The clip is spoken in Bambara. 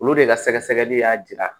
Olu de ka sɛgɛsɛgɛli y'a jira